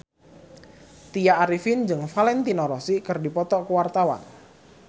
Tya Arifin jeung Valentino Rossi keur dipoto ku wartawan